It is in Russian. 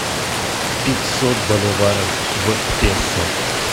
пятьсот боливаров в песо